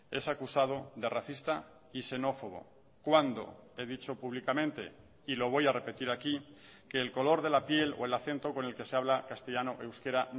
es acusado de racista y xenófobo cuando he dicho públicamente y lo voy a repetir aquí que el color de la piel o el acento con el que se habla castellano o euskera